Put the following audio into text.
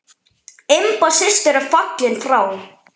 Imba systir er fallin frá.